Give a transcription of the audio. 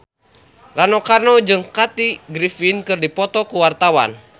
Rano Karno jeung Kathy Griffin keur dipoto ku wartawan